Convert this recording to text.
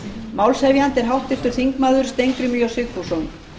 málshefjandi er háttvirtur þingmaður steingrímur j sigfússon